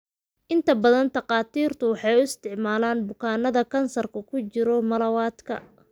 Inta badan, takhaatiirtu waxay u isticmaalaan bukaanada kansarku ku jiro malawadka.